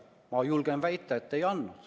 Ma julgen väita, et ei andnud.